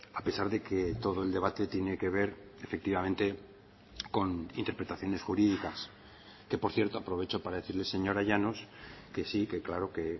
a pesar de que todo el debate tiene que ver efectivamente con interpretaciones jurídicas que por cierto aprovecho para decirle señora llanos que sí que claro que